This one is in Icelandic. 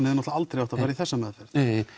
náttúrulega aldrei átt að fara í þessa meðferð